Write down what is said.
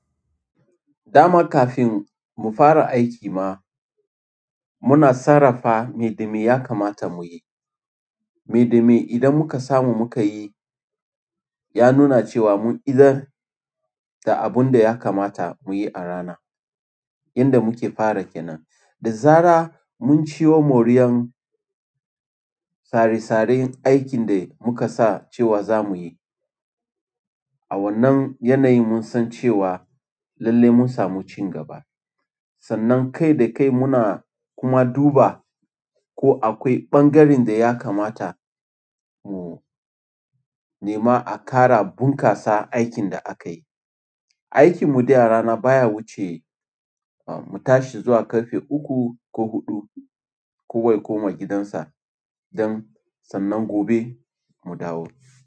Dama kafin mu fara aiki ma, muna sarrafa me da me ya kamata mu yi. Me da me idan muka samu muka yi, ya nuna cewa mun idar da abun da ya kamata mu yi a rana, inda muke fara ke nan. Da zara mun ciwo moriyar sare-saren aikin da muka sa cewa za mu yi. A wannan yanayin mun san cewa lalle mun samu cin gaba. Sannan kai da kai muna kuma duba ko akwai ɓangaren da ya kamata mu nema a ƙara bunƙasa aikin da aka yi. Aikin mu da ya rana baya wuce, ah, mu tashi zuwa ƙarfe uku ko huɗu, kowa ya ko ma gidansa don sannan gobe mu dawo.